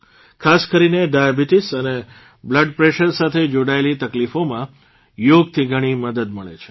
ખાસ કરીને ડાયાબીટીસ અને બલ્ડપ્રેશર સાથે જોડાયેલી તકલીફોમાં યોગથી ઘણી મદદ મળે છે